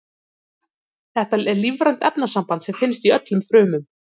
Þetta er lífrænt efnasamband sem finnst í öllum frumum.